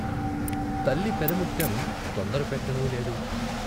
తల్లి పెద ముత్తెం తొందర పెట్టనూ లేదు.